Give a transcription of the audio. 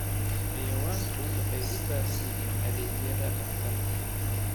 Xayawaanku waxay u baahan yihiin adeegyada dhakhtarka.